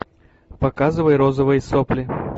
показывай розовые сопли